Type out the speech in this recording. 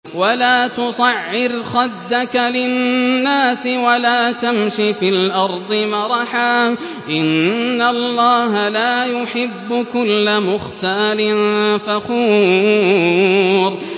وَلَا تُصَعِّرْ خَدَّكَ لِلنَّاسِ وَلَا تَمْشِ فِي الْأَرْضِ مَرَحًا ۖ إِنَّ اللَّهَ لَا يُحِبُّ كُلَّ مُخْتَالٍ فَخُورٍ